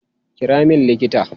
Kira min likita!